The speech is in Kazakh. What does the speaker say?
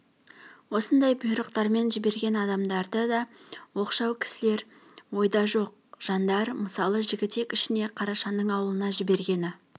осындай бұйрықтармен жіберген адамдары да оқшау кісілер ойда жоқ жандар мысалы жігітек ішіне қарашаның аулына жібергені